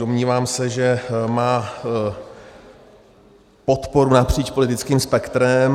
Domnívám se, že má podporu napříč politickým spektrem.